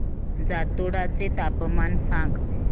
जातोडा चे तापमान सांग